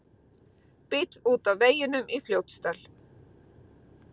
Bíll út af veginum í Fljótsdal